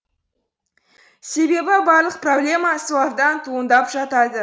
себебі барлық проблема солардан туындап жатады